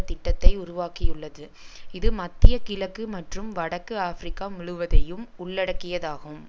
திட்டத்தை உருவாக்கியுள்ளது இது மத்திய கிழக்கு மற்றும் வடக்கு ஆபிரிக்கா முழுவதையும் உள்ளடக்கியதாகும்